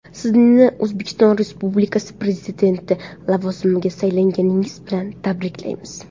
Sizni O‘zbekiston Respublikasi Prezidenti lavozimiga saylanganingiz bilan tabriklaymiz.